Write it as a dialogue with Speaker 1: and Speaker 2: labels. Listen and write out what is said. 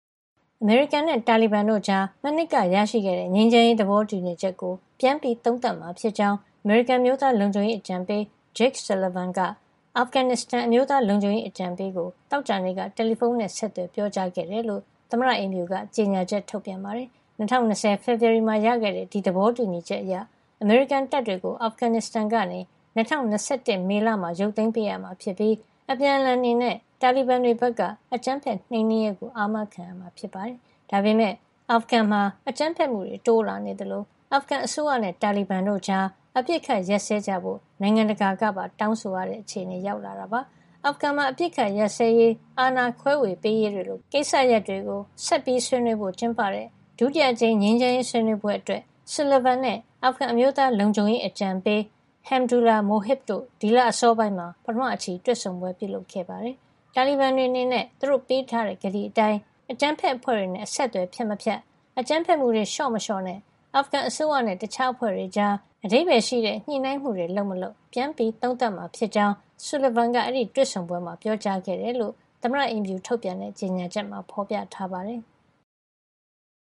Speaker 1: အမေရိကန်နဲ့ တာလီဘန်တို့ကြား မနှစ်ကရရှိခဲ့တဲ့ ငြိမ်းချမ်းရေး သဘောတူညီချက်ကို ပြန်ပြီးသုံးသပ်မှာဖြစ်ကြောင်း အမေရိကန် အမျိုးသားလုံခြုံရေးအကြံပေး Jake Sullivan က အာဖဂန်နစ္စတန် အမျိုးသားလုံခြုံရေးအကြံပေးကို သောကြာနေ့က တယ်လီဖုန်းနဲ့ ဆက်သွယ်ပြောကြားခဲ့တယ်လို့ သမ္မတအိမ်ဖြူတော်က ကြေညာချက် ထုတ်ပြန်ပါတယ်။ ၂၀၂၀ ဖေဖော်ဝါရီမှာ ရခဲ့တဲ့ ဒီသဘောတူညီချက်အရ အမေရိကန်တပ်တွေကို အာဖဂန်နစ္စတန်ကနေ ၂၀၂၁ မေလမှာ ရုပ်သိမ်းပေးရမှာဖြစ်ပြီး အပြန်အလှန်အနေနဲ့ တာလီဘန်တွေဘက်က အကြမ်းဖက်နှိမ်နင်းရေးကို အာမခံရမှာ ဖြစ်ပါတယ်။ ဒါပေမယ့် အာဖဂန်မှာ အကြမ်းဖက်မှုတွေ တိုးလာနေသလို အာဖဂန်အစိုးရနဲ့ တာလီဘန်တို့ကြား အပစ်အခတ် ရပ်စဲကြဖို့ နိုင်ငံတကာက တောင်းဆိုလာကြတာပါ။ အာဖဂန်မှာ အပစ်အခတ်ရပ်စဲရေး၊ အာဏာခွဲဝေရေးတွေလို ကိစ္စရပ်တွေကို ဆွေးနွေးဖို့ ဆက်ပြီး ကျင်းပတဲ့ ဒုတိယအကြိမ် ငြိမ်းချမ်းရေး ဆွေးနွေးပွဲအတွက် Sullivan နဲ့ အာဖဂန်အမျိုးသားလုံခြုံရေး အကြံပေး Hamdullah Mohib တို့ ဒီလအစောပိုင်းမှာ ပထမအချီ တွေ့ဆုံပွဲ ပြုလုပ်ခဲ့ပါတယ်။ တာလီဘန်တွေအနေနဲ့ သူတို့ကတိပေးထားတဲ့အတိုင်း အကြမ်းဖက်အဖွဲ့တွေနဲ့ အဆက်သွယ်ဖြတ်မဖြတ်၊ အကြမ်းဖက်မှုတွေ လျှော့မလျှော့နဲ့ အာဖဂန်အစိုးရနဲ့ တခြားအဖွဲ့တွေကြား အဓိပ္ပာယ်ရှိတဲ့ ညှိနှိုင်းမှုတွေလုပ်မလုပ် ပြန်သုံးသပ်မှာ ဖြစ်ကြောင်း Sullivan က အဲဒီတွေ့ဆုံပွဲမှာ ပြောကြားခဲ့တယ်လို့ သမ္မတအိမ်ဖြူက ထုတ်ပြန်တဲ့ ကြေညာချက်မှာ ဖော်ပြပါတယ်။